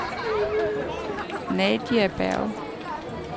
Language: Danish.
Nadia Bjerg